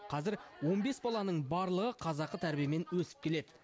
қазір он бес баланың барлығы қазақы тәрбиемен өсіп келеді